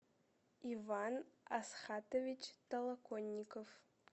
иван асхатович толоконников